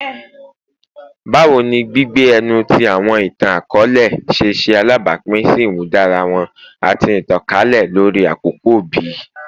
Bawo ni gbigbe ẹnu ti awọn itan-akọọlẹ ṣe ṣe alabapin si imudara wọn ati itankalẹ lori akoko bi?